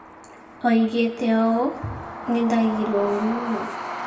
Oigĩte ũũ: "Nĩ ndaiguire ũũru mũno.